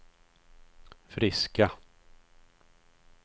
friska